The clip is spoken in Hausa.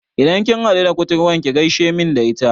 Idan kin haɗu da kuturwar ki gaishe main da ita